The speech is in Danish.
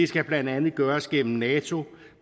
skal blandt andet gøres gennem nato